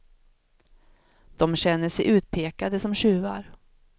Dom känner sig utpekade som tjuvar.